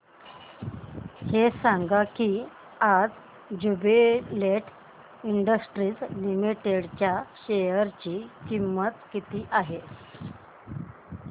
हे सांगा की आज ज्युबीलेंट इंडस्ट्रीज लिमिटेड च्या शेअर ची किंमत किती आहे